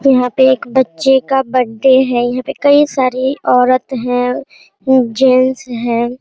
यहाँ पे एक बच्चे का बर्थडे है यहाँ पे कई सारे औरत है जेंट्स हैं।